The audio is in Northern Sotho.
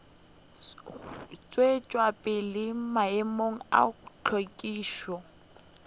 tšwetša pele maemo a hlwekišo